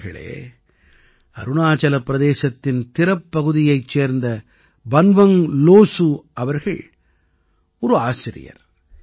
நண்பர்களே அருணாச்சல பிரதேசத்தின் திரப் பகுதியைச் சேர்ந்த பன்வங்க் லோஸூ அவர்கள் ஒரு ஆசிரியர்